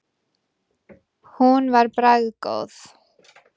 Hún var bragðgóð.